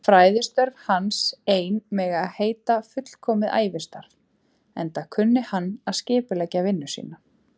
Fræðistörf hans ein mega heita fullkomið ævistarf, enda kunni hann að skipuleggja vinnu sína.